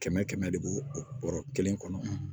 Kɛmɛ kɛmɛ de b'o o bɔrɔ kelen kɔnɔ